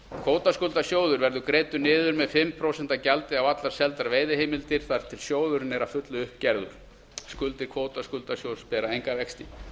kvótaskuldasjóður verður greiddur niður með fimm prósent gjaldi á allar seldar veiðiheimildir þar til sjóðurinn er að fullu upp gerður skuldir kvótaskuldasjóðs bera enga vexti